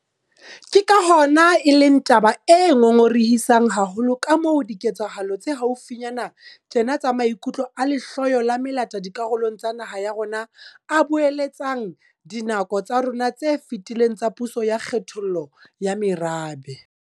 Ke ka hona e leng taba e ngongorehisang haholo kamoo diketsahalo tsa haufinyane tjena tsa maikutlo a lehloyo la melata dikarolong tsa naha ya rona a boeletsang dinako tsa rona tse fetileng tsa puso ya kgethollo ya merabe.